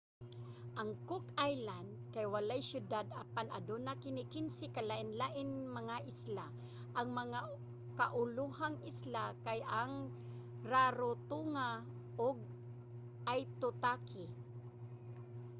ang cook islands kay walay syudad apan aduna kini 15 ka lain-laing mga isla. ang mga kaulohang isla kay ang rarotonga ug aitutaki